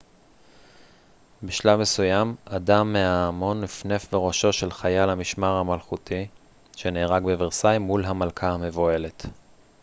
בשלב מסוים אדם מההמון נפנף בראשו של חייל המשמר מלכותי שנהרג בוורסאי מול המלכה המבוהלת